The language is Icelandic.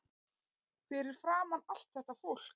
Fyrir framan allt þetta fólk.